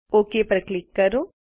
okay પર click કરો